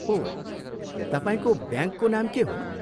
ओह, तपाईँको ब्याङ्कको नाम के हो?